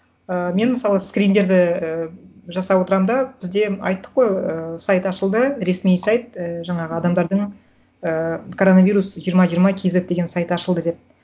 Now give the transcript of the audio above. ыыы мен мысалы скриндерді ііі жасап отырамын да бізде айттық қой ііі сайт ашылды ресми сайт і жаңағы адамдардың ыыы коронавирус жиырма жиырма кейзет деген сайты ашылды деп